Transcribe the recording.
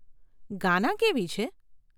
ગાના કેવી છે?